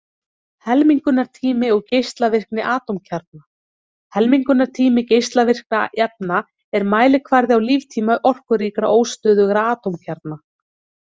Helmingunartími og geislavirkni atómkjarna Helmingunartími geislavirkra efna er mælikvarði á líftíma orkuríkra, óstöðugra atómkjarna.